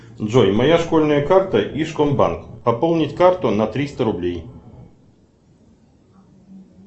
джой моя школьная карта ижкомбанк пополнить карту на триста рублей